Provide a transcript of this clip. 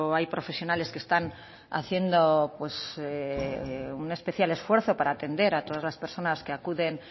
hay profesionales que están haciendo un especial esfuerzo para atender a todas las personas que acuden